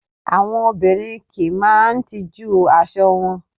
Àwọn òbinrín ki n máà tijú aṣọ wọn